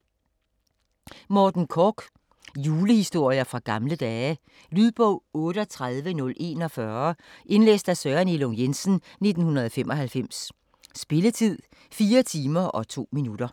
Korch, Morten: Julehistorier fra gamle dage Lydbog 38041 Indlæst af Søren Elung Jensen, 1995. Spilletid: 4 timer, 2 minutter.